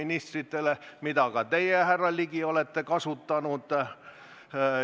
Ka teie, härra Ligi, olete seda võimalust kasutanud.